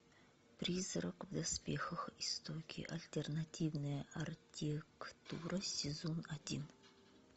призрак в доспехах истоки альтернативная архитектура сезон один